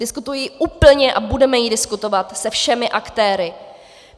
Diskutuji ji úplně a budeme ji diskutovat se všemi aktéry.